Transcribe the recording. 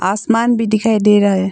आसमान भी दिखाई दे रहा हैं।